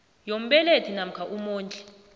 yombelethi namkha umondli